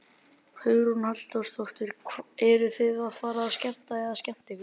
Hugrún Halldórsdóttir: Eruð þið að fara að skemmta eða skemmta ykkur?